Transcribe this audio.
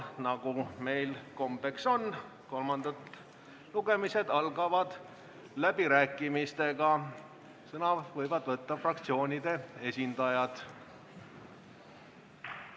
Nagu meil kombeks on, kolmandad lugemised algavad läbirääkimistega, sõna võivad võtta fraktsioonide esindajad.